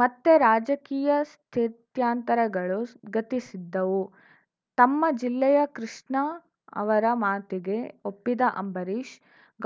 ಮತ್ತೆ ರಾಜಕೀಯ ಸ್ಥಿತ್ಯಂತರಗಳು ಗತಿಸಿದ್ದವು ತಮ್ಮ ಜಿಲ್ಲೆಯ ಕೃಷ್ಣ ಅವರ ಮಾತಿಗೆ ಒಪ್ಪಿದ ಅಂಬರೀಷ್‌